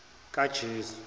kajesu